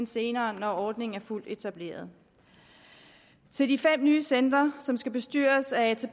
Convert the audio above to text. senere når ordningen er fuldt etableret i de fem nye centre som skal bestyres af